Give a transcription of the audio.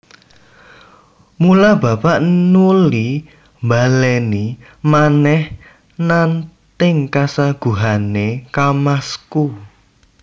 Mula bapak nuli mbalèni manèh nanting kasaguhané kamasku